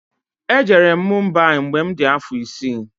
E jere m Mumbai mgbe mụ di afọ isi